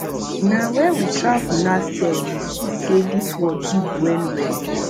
na wen we travel last year we see sey dis world big wellwell